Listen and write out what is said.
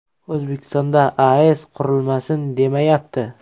O‘zbekistonda AES qurilmasin demayapti.